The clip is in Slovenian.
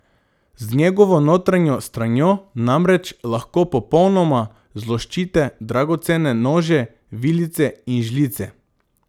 Z njegovo notranjo stranjo namreč lahko popolnoma zloščite dragocene nože, vilice in žlice.